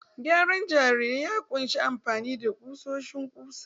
Gyaran jarirai ya ƙunshi amfani da ƙusoshin ƙusa